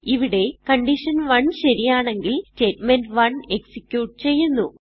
ഇവിടെ കണ്ടീഷൻ1 ശരിയാണെങ്കിൽ statement1എക്സിക്യൂട്ട് ചെയ്യുന്നു